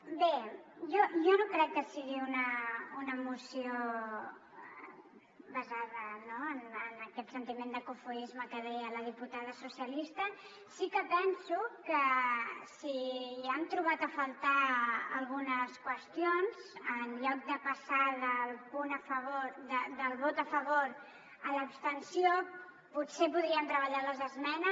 bé jo no crec que sigui una moció basada en aquest sentiment de cofoisme que deia la diputada socialista sí que penso que si hi han trobat a faltar algunes qüestions en lloc de passar del punt a favor del vot a favor a l’abstenció potser podríem treballar les esmenes